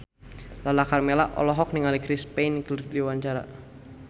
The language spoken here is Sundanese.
Lala Karmela olohok ningali Chris Pane keur diwawancara